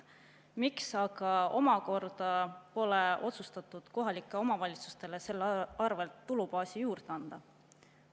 Miks aga pole otsustatud kohalikele omavalitsustele selle arvel tulubaasi juurde anda?